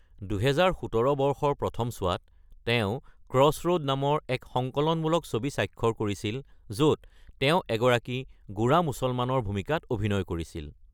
২০১৭ বৰ্ষৰ প্ৰথমতে, তেওঁ ক্ৰছৰ’ড নামৰ এক সংকলনমূলক ছবি স্বাক্ষৰ কৰিছিল, য’ত তেওঁ এগৰাকী গোঁড়া মুছলমানৰ ভূমিকাত অভিনয় কৰিছিল।